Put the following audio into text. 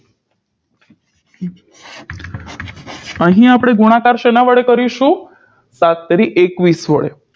અહીં આપણે ગુણાકાર શેના વડે કરીશું સાત તેરી એકવીસ વડે